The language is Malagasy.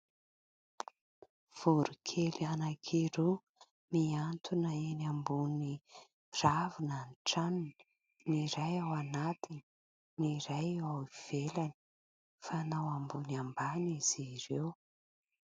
Voronkely anankiroa mihantona eny ambony ravina ny tranony. Ny iray ao anatiny, ny iray ao ivelany. Mifanao ambony ambany izy ireo.